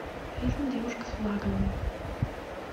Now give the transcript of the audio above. фильм девушка с флагом